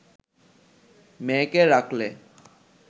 মেয়েকে রাখলেন